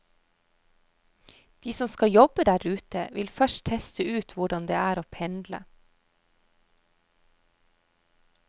De som skal jobbe der ute, vil først teste ut hvordan det er å pendle.